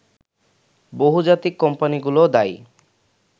বহুজাতিক কোম্পানিগুলোও দায়ী